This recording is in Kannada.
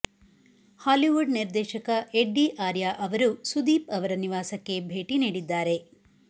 ಹಾಲಿವುಡ್ ನಿರ್ದೇಶಕ ಎಡ್ಡಿ ಆರ್ಯ ಅವರು ಸುದೀಪ್ ಅವರ ನಿವಾಸಕ್ಕೆ ಭೇಟಿ ನೀಡಿದ್ದಾರೆ